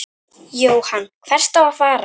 Jóhann: Hvert á að fara?